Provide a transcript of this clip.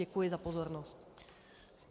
Děkuji za pozornost.